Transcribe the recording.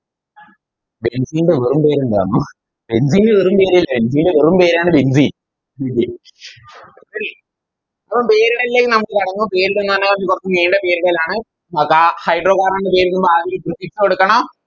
Benzene ന്റെ വെറും പേരെന്തെന്നോ Benzene ന് വെറും പേരില്ല Benzene ൻറെ വെറും പേരാണ് Benzene Ready അപ്പൊ പേരിടലിലേക്ക് കടന്നു പേരിടുന്നാണ് കൊറച്ച് നീണ്ട പേരിടലാണ് നോക്കാം Hydro carbon ന് പേരിടുമ്പോൾ ആദ്യൊരു Prefix കൊടുക്കണം